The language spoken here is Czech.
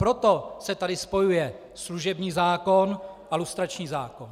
Proto se tady spojuje služební zákon a lustrační zákon.